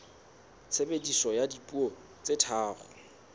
tshebediso ya dipuo tse tharo